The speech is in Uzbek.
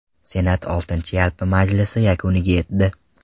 Senat oltinchi yalpi majlisi yakuniga yetdi.